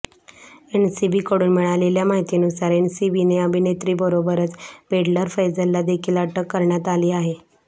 एनसीबीकडून मिळालेल्या माहितीनुसार एनसीबीने अभिनेत्रीबरोबरच पेडलर फैजलला देखील अटक करण्यात आली आहे